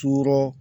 Ture